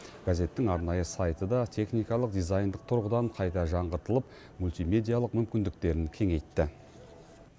газеттің арнайы сайты да техникалық дизайндық тұрғыдан қайта жаңғыртылып мультимедиялық мүмкіндіктерін кеңейтті